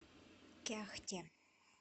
кяхте